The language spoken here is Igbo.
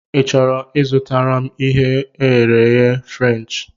Ị chọrọ I zụtara m ihe e ghere eghe Frenchị?